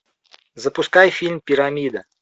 запускай фильм пирамида